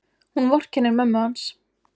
Hún vorkennir mömmu hans.